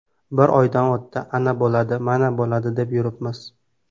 Bir oydan o‘tdi, ana bo‘ladi, mana bo‘ladi, deb yuribmiz.